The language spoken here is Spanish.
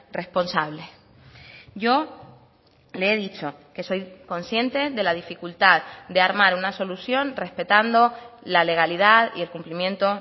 responsables yo le he dicho que soy consciente de la dificultad de armar una solución respetando la legalidad y el cumplimiento